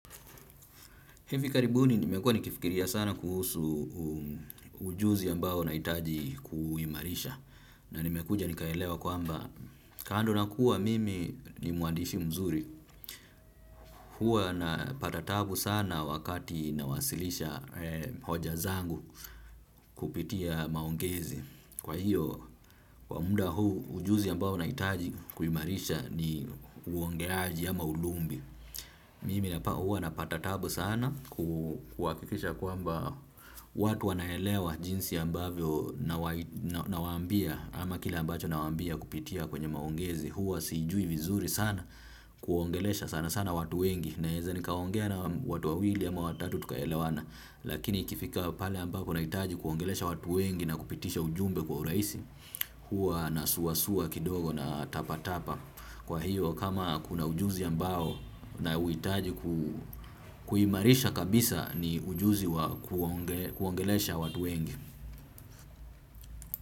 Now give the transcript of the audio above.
Hivi karibuni nimekua nikifikiria sana kuhusu ujuzi ambao nahitaji kuuimarisha. Na nimekuja nikaelewa kwamba kando na kuwa mimi ni mwandishi mzuri. Hua napa taatabu sana wakati nawasilisha hoja zangu kupitia maongezi. Kwa hiyo, kwa muda huu ujuzi ambao nahitaji kuimarisha ni uongeaji ama ulumbi. Mimi huwa napata taabu sana kuhakikisha kwamba watu wanaelewa jinsi ambavyo nawaambia ama kile ambacho nawaambia kupitia kwenye maongezi huwa siijui vizuri sana kuwaongelesha sana sana watu wengi naeza nikaongea na watu wawili ama watatu tukaelewana. Lakini ikifika pale ambako nahitaji kuwaongelesha watu wengi na kupitisha ujumbe kwa urahisi. Huwa nasua sua kidogo natapatapa. Kwa hiyo kama kuna ujuzi ambao nauhitaji kuuimarisha kabisa ni ujuzi kuongelesha watu wengi.